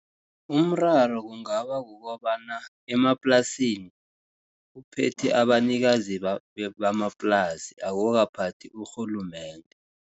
Umraro kungaba kukobana emaplasini, kuphethe abanikazi bamaplasi, akukaphathi urhulumende.